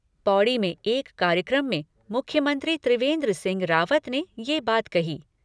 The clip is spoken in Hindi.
पौड़ी में एक कार्यक्रम में मुख्यमंत्री त्रिवेंद्र सिंह रावत ने यह बात कही।